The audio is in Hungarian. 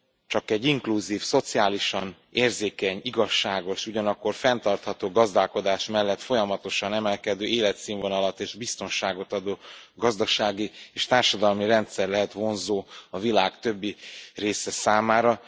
Csak egy inkluzív, szociálisan érzékeny, igazságos, ugyanakkor fenntartható gazdálkodás mellett folyamatosan emelkedő életszínvonalat és biztonságot adó gazdasági és társadalmi rendszer lehet vonzó a világ többi része számára.